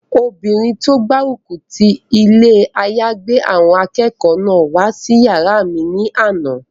Obìnrin tó gbárùkù ti ilé àyágbé àwọn akẹ́kọ̀ọ́ náà wá sí yàrá mi ní àná